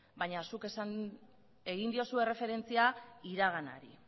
baina zuk egin diozu erreferentzia iraganari